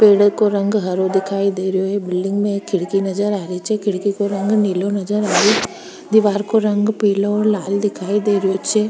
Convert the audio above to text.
पेड़ का रंग हरो दिखाई दे रहा है बिलडिंग में एक खिड़की नजर आ रही छे खिड़की का रंग नीलो नजर आ रही दिवार का रंग पिलो और लाल दिखाई दे रहो छे।